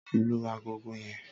lú àgọ́gọ́ yen!